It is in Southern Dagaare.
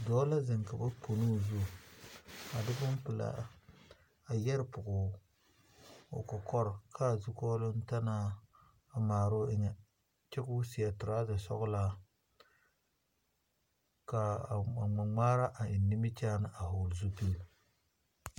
Dɔɔ la zeŋ ka ba pono o zu a de bompelaa a yɛre pɔge o kɔkɔre ka a zukɔɔloŋ ta maŋ maroo o eŋa kyɛ k'o seɛ toraza sɔglaa ka a ŋmaa ŋmaara eŋ nimikyaani a vɔgle zupili.